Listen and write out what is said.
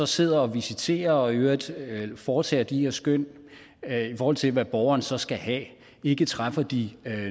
sidder og visiterer og i øvrigt foretager de her skøn i forhold til hvad borgeren så skal have ikke træffer de